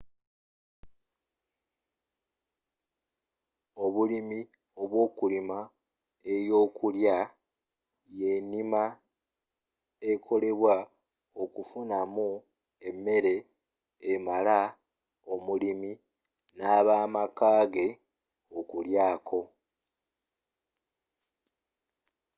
obulimi bwokulima ekyokulya yenima ekolebwa okufunamu emere eyo emala omulimi n'abamakaage okulyaako